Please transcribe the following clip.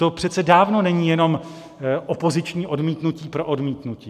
To přece dávno není jenom opoziční odmítnutí pro odmítnutí.